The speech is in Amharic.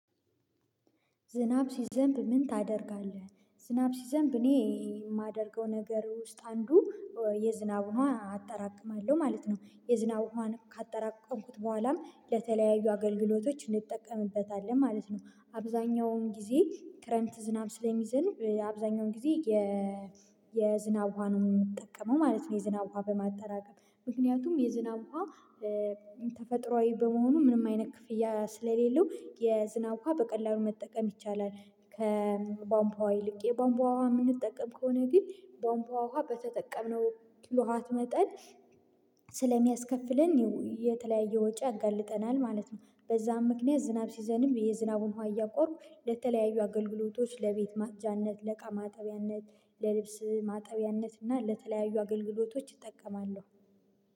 ዝናብ ሲዘንብ ምን ታደርጋለህ? ዝናብ ሲዘንብ እኔ የማደርገው ነገር ውስጥ አንዱ የዝናብ ዉሃ አጠራቅማለሁ ማለት ነው የዝናብ ዉሃ ካጠራቀምኩት በኋላም ለተለያዩ አገልግሎቶች እንጠቀምበታለን ማለት ነው አብዛኛውን ጊዜ ክረምት ዝናብ ስለሚዘንብ አብዛኛውን ጊዜ የዝናብ ውሃ ነው የምጠቀመው ማለት ነው የዝናብ ውሃ በማጠራቀም ምክንያቱም የዝናብ ውሃ ተፈጥሮአዊ በመሆኑ ምንም አይነት ክፍያ ስለሌለው የዝናብ ውሃ በቀላሉ መጠቀም ይቻላል ከባንባዋ ይልቅ የባንባዋ ዉሃ የምንጠቀም ከሆነ ግን ባንፓዋ ውሃ በተጠቀምነው ኪሎ ዋት መጠን ስለሚያስከፍለን የተለያየ ወጪ ያጋልጠናል ማለት ነው በዛም ምክንያት ዝናብ ሲዘንብ የዝናቡን ዉሃ እያቆርን ለተለያዩ አገልግሎቶች ለቤት መቅጃነት ለእቃ ማጠቢያነት ለልብስ ማጠቢያነት እና ለተለያዩ አገልግሎቶች ይጠቀማሉ